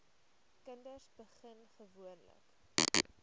kinders begin gewoonlik